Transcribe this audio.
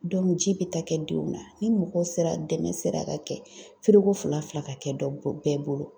ji bɛ taa kɛ denw na. Ni mɔgɔw sera dɛmɛ sera ka kɛ fila-fila ka kɛ dɔ bo bɛɛ bolo.